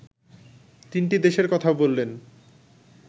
তিনটি দেশের কথা বললেন